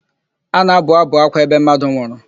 A na-abụ ábụ̀ ákwá ebe mmadụ nwụrụ.